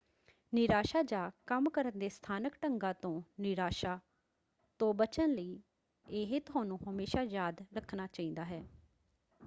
ਨਿਰਾਸ਼ਾ ਜਾਂ ਕੰਮ ਕਰਨ ਦੇ ਸਥਾਨਕ ਢੰਗਾਂ ਤੋਂ ਨਿਰਾਸ਼ਾ ਤੋਂ ਬਚਣ ਲਈ ਇਹ ਤੁਹਾਨੂੰ ਹਮੇਸ਼ਾ ਯਾਦ ਰੱਖਣਾ ਚਾਹੀਦਾ ਹੈ